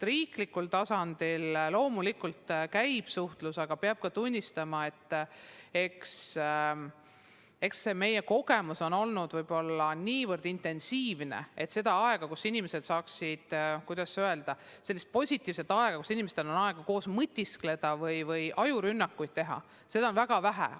Riiklikul tasandil loomulikult käib ka suhtlus, aga peab tunnistama, et meie töö on olnud nii intensiivne, et seda aega, kus inimesed saaksid koos mõtiskleda või ajurünnakuid teha, on olnud väga vähe.